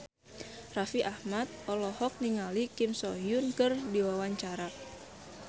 Raffi Ahmad olohok ningali Kim So Hyun keur diwawancara